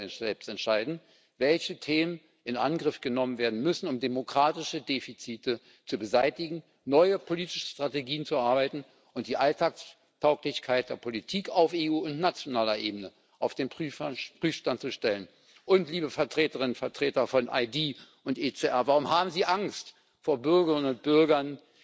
Sie selbst sollen entscheiden, welche Themen in Angriff genommen werden müssen, um demokratische Defizite zu beseitigen, neue politische Strategien zu erarbeiten und die Alltagstauglichkeit der Politik auf EU und nationaler Ebene auf den Prüfstand zu stellen. Liebe Vertreterinnen und Vertreter von ID und ECR, warum haben Sie Angst vor Bürgerinnen und Bürgern,